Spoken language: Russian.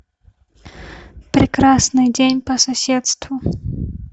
прекрасный день по соседству